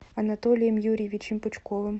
анатолием юрьевичем пучковым